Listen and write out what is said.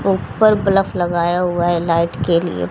ऊपर बल्ब लगाया हुआ है लाइट के लिए --